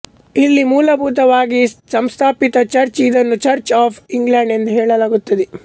ಇಲ್ಲಿ ಮೂಲಭೂತ ವಾಗಿ ಸಂಸ್ಥಾಪಿತ ಚರ್ಚ್ ಇದನ್ನುಚರ್ಚ್ ಆಫ್ ಇಂಗ್ಲೆಂಡ್ಎಂದು ಹೇಳಲಾಗುತ್ತದೆ